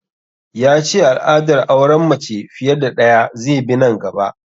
Ya ce al'adar auren mace fiye da ɗaya zai bi nan gaba